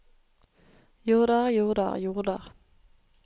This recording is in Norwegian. jorder jorder jorder